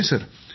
होय सर